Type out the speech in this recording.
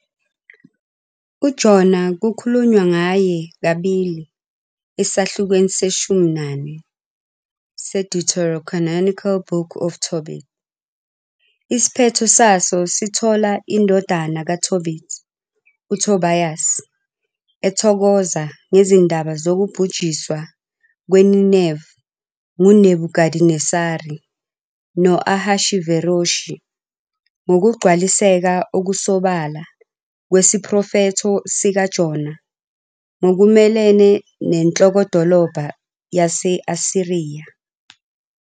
UJona kukhulunywa ngaye kabili esahlukweni seshumi nane se- deuterocanonical Book of Tobit, isiphetho saso sithola indodana kaTobit, uTobias, ethokoza ngezindaba zokubhujiswa kweNineve nguNebukadinesari no- Ahashiveroshi ngokugcwaliseka okusobala kwesiprofetho sikaJona ngokumelene nenhlokodolobha yase-Asiriya.